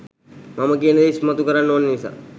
මම කියන දේ ඉස්මතු කරන්න ඕනි නිසා